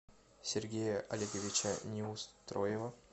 сергея олеговича неустроева